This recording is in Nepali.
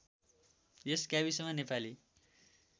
यस गाविसमा नेपाली